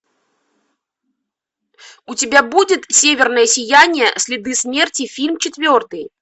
у тебя будет северное сияние следы смерти фильм четвертый